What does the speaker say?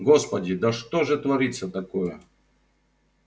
господи да что же творится такое